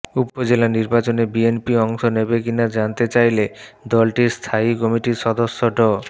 উপজেলা নির্বাচনে বিএনপি অংশ নেবে কিনা জানতে চাইলে দলটির স্থায়ী কমিটির সদস্য ড